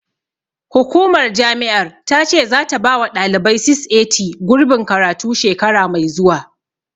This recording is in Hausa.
Hukumar jami'ar ta ce zata bawa ɗalibai 680, gurbin karatu, shekara mai zuwa.